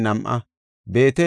Harima yarati 1,017.